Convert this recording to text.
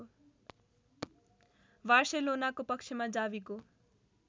बार्सेलोनाको पक्षमा जावीको